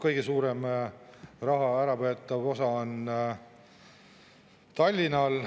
Kõige suurem osa võetakse ära Tallinnalt.